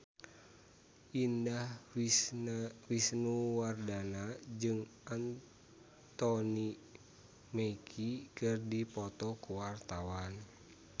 Indah Wisnuwardana jeung Anthony Mackie keur dipoto ku wartawan